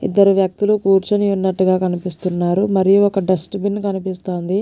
ఇద్దరు వ్యక్తులు కూర్చొని ఉన్నటుగా కనిపిస్తునారు మరియు ఒక డెస్ట్బిన్ కనిపిస్తుంది.